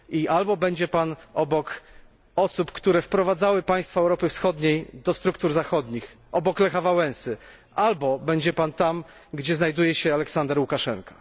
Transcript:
Albo będzie pan obok osób, które wprowadzały państwa Europy Wschodniej do struktur zachodnich, obok Lecha Wałęsy, albo będzie pan tam, gdzie znajduje się Aleksander Łukaszenka.